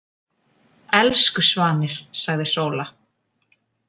Elsku svanir, sagði Sóla. „